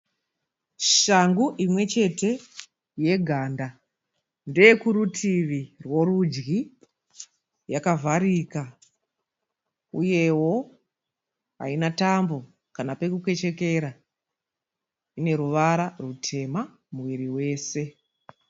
Shangu imwe chete yeganda. Ndeye kurutivi rworudyi. Yakavharika uyewo haina tambo kana pokukechekera. Ine ruvara rutema muviri wese.